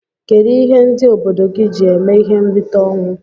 Kedu ihe ndi obodo gi ji eme ihe nrita onwụ?